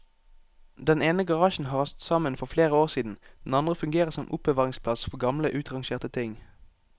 Den ene garasjen har rast sammen for flere år siden, den andre fungerer som oppbevaringsplass for gamle utrangerte ting.